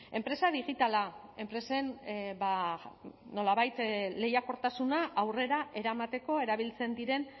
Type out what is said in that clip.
enpresa digitala enpresen ba nolabait lehiakortasuna aurrera eramateko erabiltzen diren